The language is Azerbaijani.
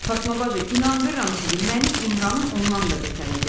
Fatma bacı, inandırım sizi, mənim İmranım ondan da betər idi.